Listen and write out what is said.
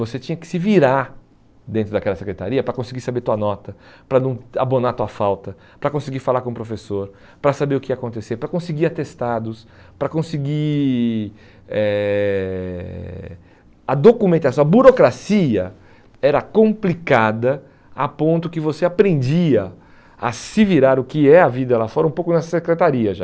Você tinha que se virar dentro daquela secretaria para conseguir saber tua nota, para não abonar sua falta, para conseguir falar com o professor, para saber o que ia acontecer, para conseguir atestados, para conseguir... eh a documentação, a burocracia era complicada a ponto que você aprendia a se virar o que é a vida lá fora um pouco nessa secretaria já.